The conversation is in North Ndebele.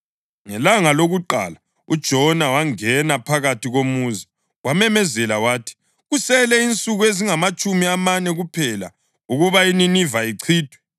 Ngelanga lokuqala, uJona wangena phakathi komuzi. Wamemezela wathi, “Kusele insuku ezingamatshumi amane kuphela ukuba iNiniva ichithwe.”